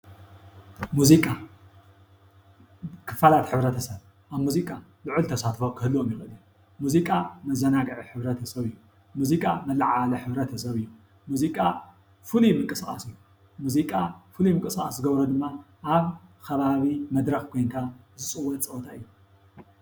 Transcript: ሙዚቃ ክፍላት ሕብረተሰብ ኣብ ሙዚቃ ልዑል ተሳትፎ ክህልዎም ይክእል እዩ ። ሙዚቃ መዘናግዒ ሕ/ሰብ እዩ። ሙዚቃ መለዓዓሊ ሕ/ሰብ እዩ። ሙዚቃ ፍሉይ ምንቅስቃስ እዩ። ሙዚቃ ፍሉይ ምንቅስቃስ ዝገብሮ ድማ ኣብ ኸባቢ መድረኽ ኮይንካ ዝፅወት ፀወታ እዬ ።